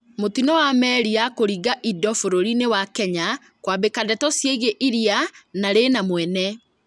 Mũtino wa meri ya kũringia indo bũrũri-inĩ wa Kenya kwambĩka ndeto cĩĩgie iria na rĩna 'mwene'